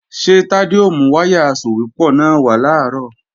Ṣé Tádé ó mú wáyà asòwépọ̀ náà wá làárọ̀?